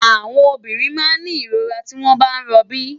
Áwòn òbìrín má n ni irórá tiwòn bá n ròbí